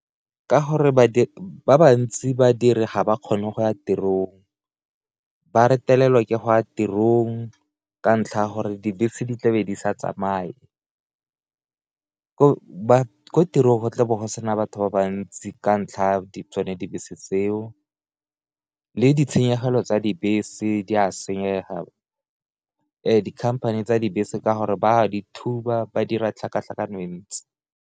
Ka gore ba ba ntsi badiri ga ba kgone go ya tirong ba retelelwa ke go ya tirong ka ntlha ya gore dibese di tlabe di sa tsamaye ko tirong go tlabo go sena batho ba bantsi ka ntlha tsone dibese tseo, le ditshenyegelo tsa dibese di a senyega dikhamphane tsa dibese ka gore ba dithuba ba dira tlhakatlhakano e ntsi.